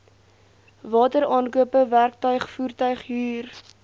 wateraankope werktuig voertuighuur